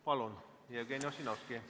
Palun, Jevgeni Ossinovski!